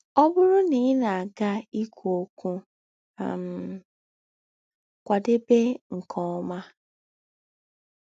Ọ bụrụ na ị na - aga ikwụ ọkwụ, um kwadebe nke ọma.